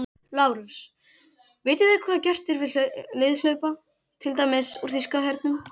LÁRUS: Vitið þið hvað gert er við liðhlaupa, til dæmis úr þýska hernum?